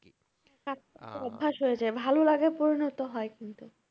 অভ্যাস হয়ে যায়। ভালোলাগায় পরিণত হয় কিন্তু।